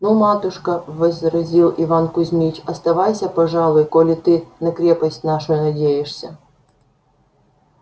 ну матушка возразил иван кузмич оставайся пожалуй коли ты на крепость нашу надеешься